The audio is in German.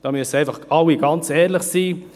Da müssen einfach alle ganz ehrlich sein.